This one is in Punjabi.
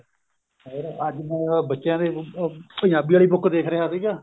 ਹੋਰ ਅੱਜ ਬੱਚਿਆਂ ਦੇ ਪੰਜਾਬੀ ਵਾਲੀ book ਦੇਖ ਰਿਹਾ ਸੀਗਾ